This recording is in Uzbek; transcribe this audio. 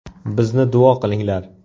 Bizni duo qilinglar.